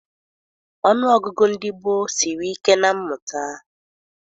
Ọnụọgụgụ ndị gboo siri ike na mmụta.